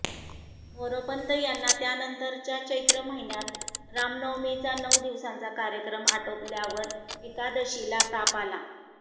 मोरोपंत यांना त्यानंतरच्या चैत्र महिन्यात रामनवमीचा नऊ दिवसांचा कार्यक्रम आटोपल्यावर एकादशीला ताप आला